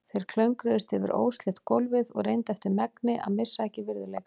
Þeir klöngruðust yfir óslétt gólfið og reyndu eftir megni að missa ekki virðuleikann.